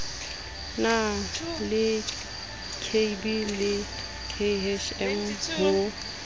la lkb le khm ho